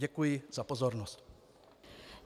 Děkuji za pozornost.